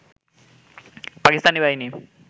পাকিস্তানি বাহিনী